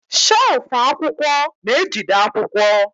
shelfụ akwụkwọ na-ejide akwụkwọ.